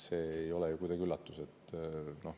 See ei ole mingi üllatus.